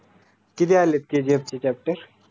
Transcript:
किती आलेत KGF चे chapter?